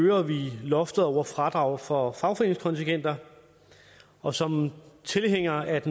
øger vi loftet over fradrag for fagforeningskontingenter og som tilhænger af